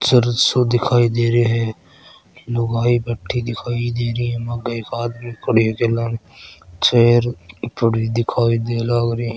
चर्च दिखाई देरो है लुगाई बेठी दिखाई देरी है आगे एक आदमी खड़ा है चेयर पड़ी दिखाई दे ला लागरी है।